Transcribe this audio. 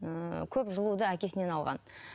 ыыы көп жылуды әкесінен алған